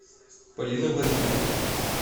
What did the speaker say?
полины владимировны